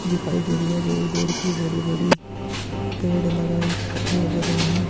दिखाई दे रही है दूर - दूर की बड़ी - बड़ी पेड़ लगाई लग रहे है।